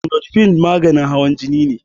Amlodipine maganin hawan jini ne